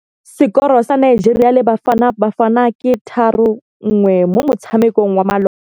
Sekôrô sa Nigeria le Bafanabafana ke 3-1 mo motshamekong wa malôba.